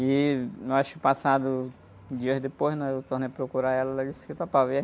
E, eu acho que passado, dias depois, né? Eu tornei a procurar ela e ela disse que topava. E